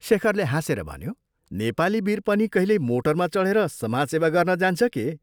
शेखरले हाँसेर भन्यो, "नेपाली वीर पनि कहिल्यै मोटरमा चढेर समाज सेवा गर्न " जान्छ के?